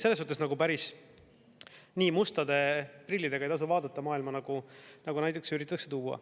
Selles mõttes nagu päris nii mustade prillidega ei tasu vaadata maailma, nagu näiteks üritatakse tuua.